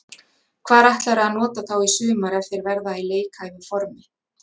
Hvar ætlarðu að nota þá í sumar ef þeir verða í leikhæfu formi?